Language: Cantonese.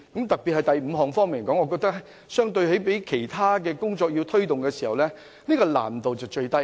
特別是第五項建議，相對推動其他工作，這項建議難度最低。